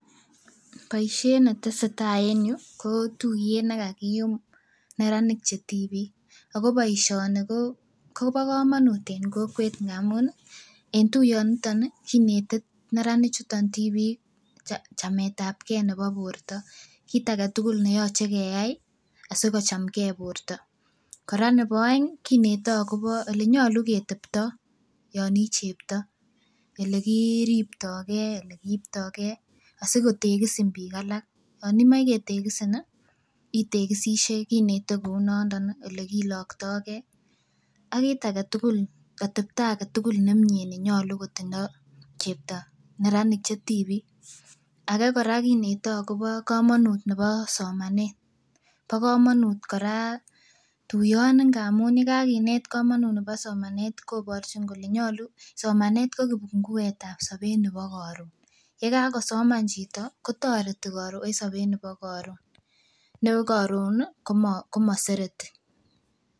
Boisiet netesetai en yuu ko tuiyet nekakiyum neranik chetibik ako boisioni ko kobo komonut en kokwet amun ih en tuiyoniton ih kinete neranik chuton tibik chametabgee nebo borto kit aketugul neyoche keyai asikochamgee borto, kora nebo oeng ih kinete akobo elenyolu keteptoo yon ih chepto elekiriptogee, elekiiptogee asikotegisin biik alak yon imoe ketegisin ih, itegisisie kinete kounondon ih elekiloktogee ak kit agetukul atepto agetukul nemie nenyolu kotindoo chepto neranik chetibik ake kora kinete akobo komonut nebo somanet. Bo komonut kora tuiyoni amun yekakinet komonut nebo somanet koborchin kole nyolu somanet ko kipunguetab sobet nebo koron yekakosoman chito kotoreti koron en sobet nebo koron ne koron komo komosereti